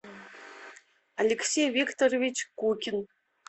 алексей викторович кукин